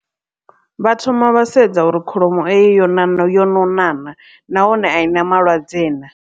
Vha thoma vha sedza uri kholomo eyo yo ṋaṋa yo nona naa nahone a i na malwadze naa.